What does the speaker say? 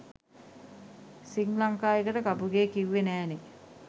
සිංග්ලංකා එකට කපුගේ කිව්වෙ නෑනෙ.